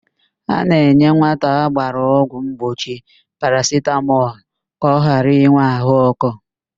A na-enye nwata a ga-agba ọgwụ mgbochi parasitamọl ka ọ ghara ịnwe ahụ ọkụ.